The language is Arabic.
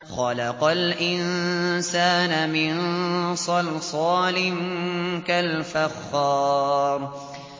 خَلَقَ الْإِنسَانَ مِن صَلْصَالٍ كَالْفَخَّارِ